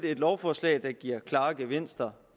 et lovforslag der giver klare gevinster